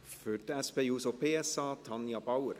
Für die SP-JUSO-PSA: Tanja Bauer.